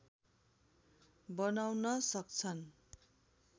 बनाउन सक्छन्